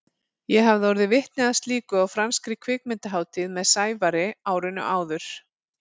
Ég hafði orðið vitni að slíku á franskri kvikmyndahátíð með Sævari árinu áður.